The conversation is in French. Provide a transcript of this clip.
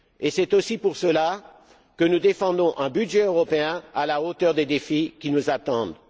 C'est aussi pour cela que nous défendons un budget européen à la hauteur des défis qui nous attendent.